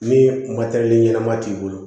Ni ɲɛnama t'i bolo